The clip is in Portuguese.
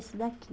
Esse daqui.